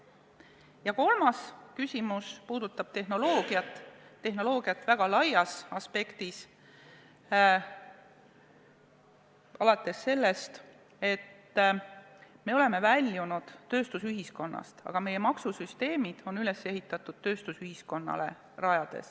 Ja kolmas küsimus puudutab tehnoloogiat, tehnoloogiat väga laias aspektis alates sellest, et me oleme väljunud tööstusühiskonnast, aga meie maksusüsteemid on üles ehitatud, lähtudes tööstusühiskonnast.